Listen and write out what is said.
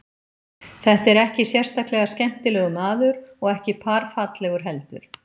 Þetta er ekki sérstaklega skemmtilegur maður og ekki par fallegur heldur.